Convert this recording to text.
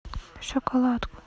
шоколадку